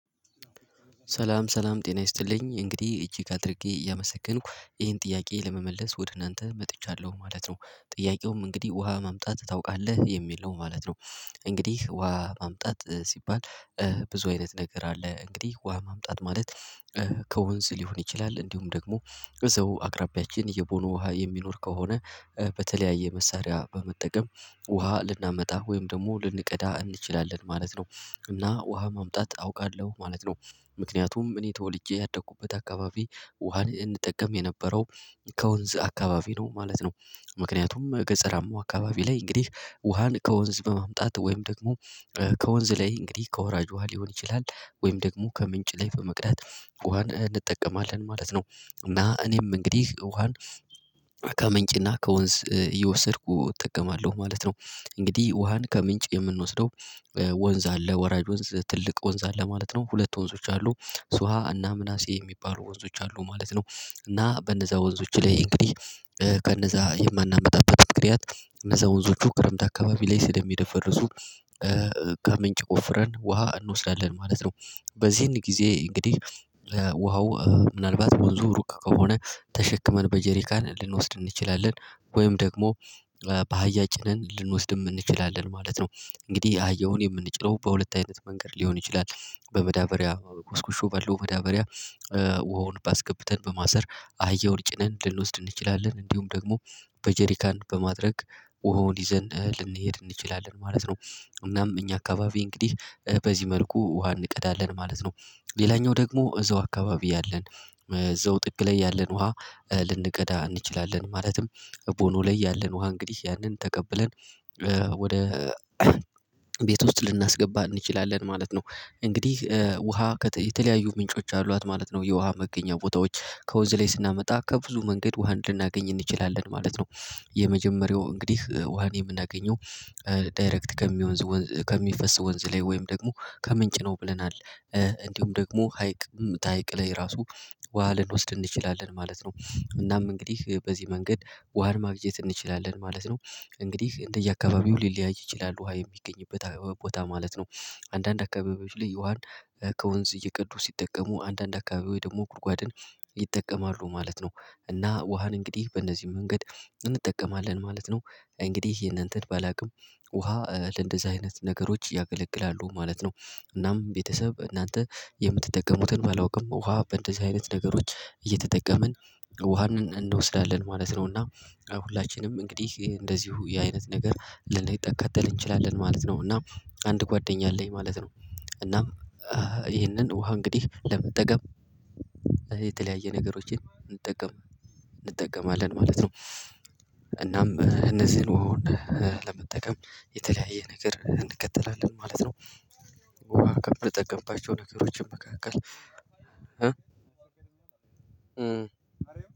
ሰላም ሰላም ጤና ይስጥልኝ እንግዲህ እጄ ካደረግኩኝ እያመሰከንኩ ይሄን ጥያቄ ለመመለስ ወደ እናንተ መጥቻለሁ ማለት ነው። ጥያቄውም እንግዲህ ውሃ ማምጣት ታውቃለህ የሚል ነው ማለት ነው። እንግዲህ ውሃ ማምጣት ሲባል ብዙ አይነት ነገር አለ። እንግዲህ ውሃ ማምጣት ማለት ከወንዝ ሊሆን ይችላል። እንዲሁም ደግሞ እዛው አቅራቢያችን የቦኑ ውሃ የሚኖር ከሆነ በተለያየ መሳሪያ በመጠቀም ውሃ ልናመጣ ወይም ደግሞ ልንቀዳ እንችላለን ማለት ነው። እና ውሃ ማምጣት አውቃለሁ ማለት ነው። ምክንያቱም እኔ ተወልጄ ያደኩበት አካባቢ ውሃን እንጠቀም የነበረው ከወንዝ አካባቢ ነው ማለት ነው። ምክንያቱም ገጸራማው አካባቢ ላይ እንግዲህ ውሃን ከወንዝ በማምጣት ወይም ደግሞ ከወንዝ ላይ እንግዲህ ከወራጅ ውሃ ሊሆን ይችላል ወይም ደግሞ ከምንጭ ላይ በመቅዳት ውሃን እንጠቀማለን ማለት ነው። እና እኔም እንግዲህ ውሃን ከምንጭና ከወንዝ እየወሰድኩ እጠቀማለሁ ማለት ነው። እንግዲህ ውሃን ከምንጭ የምንወስደው ወንዝ አለ ወራጅ ወንዝ ትልቅ ወንዝ አለ ማለት ነው ሁለት ወንዞች አሉ። ስዋ አና ምናሴ የሚባሉ ወንዞች አሉ ማለት ነው። እና በነዛ ወንዞች ላይ እንግዲህ ከነዛ የማናመጣበት ምክነያት እነዛ ወንዞቹ ክረምት አካባቢ ላይ ስለሚደፈርሱ። ከምንጭ ቆፍረን ውሃ እንወስዳለን ማለት ነው። በዚህን ጊዜ እንግዲህ ውሃው ምናልባት ወንዙ ሩቅ ከሆነ ተሸክመን በጀሪካን ልንወስድ እንችላለን ወይም ደግሞ በአህያ ጭነን ልንወስድም እንችላለን ማለት ነው። እንግዲህ አህያውን የምንጭነው በሁለት አይነት መንገድ ሊሆን ይችላል በመዳበሪያ ኮስኩሾ ባለው መዳበሪያ ውሃውን ባስገብተን በማሰር አህያ ወልጭነን ልንወስድ እንችላለን እንዲሁም ደግሞ በጀሪካን በማድረግ ውሃውን ይዘን ልንሄድ እንችላለን ማለት ነው። እናም እኛ አካባቢ እንግዲህ በዚህ መልኩ ውሃ እንቀዳለን ማለት ነው። ሌላኛው ደግሞ እዛው አካባቢ ያለን እዛው ጥግ ላይ ያለን ውሃ ልንቀዳ እንችላለን ማለትም ቦኖ ላይ ያለን ውሃ እንግዲህ ያንን ተቀብለን ወደ ቤት ውስጥ ልናስገባ እንችላለን ማለት ነው። እንግዲህ ውሃ የተለያዩ ምንጮች አሏት ማለት ነው የውሃ መገኛ ቦታዎች ከወንዝ ላይ ስናመጣ ከብዙ መንገድ ውሃ ልናገኝ እንችላለን ማለት ነው። የመጀመሪያው እንግዲህ ውሃን የምናገኘው ዳይሬክት ከሚሆን ከሚፈስ ወንዝ ላይ ወይም ደግሞ ከምንጭ ነው ብለናል። እንዲሁም ደግሞ ሀይቅ ተሃይቅ ላይ ራሱ ውሃ ልንወስድ እንችላለን ማለት ነው። እናም እንግዲህ በዚህ መንገድ ውሃን ማግኘት እንችላለን ማለት ነው። እንግዲህ እንደየአካባቢው ሊለያይ ይችላል ውሃ የሚገኝበት አካባቢ ቦታ ማለት ነው። አንዳንድ አካባቢዎች ላይ ውሃን ከወንዝ እየቀዱ ሲጠቀሙ አንዳንድ አካባቢው ደግሞ ጉድጓድን ይጠቀማሉ ማለት ነው። እና ውሃን እንግዲህ በእነዚህ መንገድ እንጠቀማለን ማለት ነው። እንግዲህ የእናንተን ባላውቅም ውሃ ለእንደዚህ አይነት ነገሮች ያገለግላሉ ማለት ነው። እናም ቤተሰብ እናንተ የምትጠቀሙትን ባላውቅም ውሃ እንደዚህ አይነት ነገሮች እየተጠቀምን ውሃንን እንወስዳለን ማለት ነው። እና ሁላችንም እንግዲህ እንደዚሁ ያ አይነት ነገር ልንጠቀም እንችላለን ማለት ነው። እና አንድ ጓደኛ አለኝ ማለት ነው። እና ይህንን ውሃ እንግዲህ ለመጠቀም የተለያየ ነገሮችን እንጠቀም እንጠቀማለን ማለት ነው። እናም እነዚህን ውሃውን ለመጠቀም የተለያየ ነገር እንከተላለን ማለት ነው። ውሃ ከምንጠቀምካቸው ነገሮች መካከል